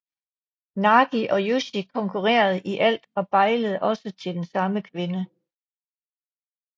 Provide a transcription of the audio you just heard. Nagi og Yoshi konkurrerede i alt og bejlede også til den samme kvinde